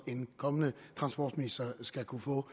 en kommende transportminister skal kunne få